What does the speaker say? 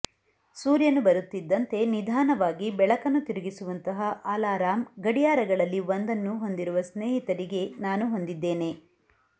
ಸೂರ್ಯನು ಬರುತ್ತಿದ್ದಂತೆ ನಿಧಾನವಾಗಿ ಬೆಳಕನ್ನು ತಿರುಗಿಸುವಂತಹ ಅಲಾರಾಂ ಗಡಿಯಾರಗಳಲ್ಲಿ ಒಂದನ್ನು ಹೊಂದಿರುವ ಸ್ನೇಹಿತರಿಗೆ ನಾನು ಹೊಂದಿದ್ದೇನೆ